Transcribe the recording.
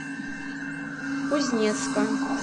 кузнецка